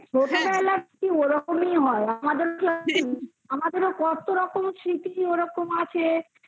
ছোটবেলায় ওরকমই হয়. আমাদের তো কত রকম স্মৃতি ওরকম আছে